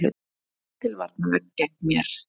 Búa til varnarvegg gegn mér.